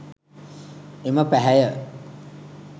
එම පැහැය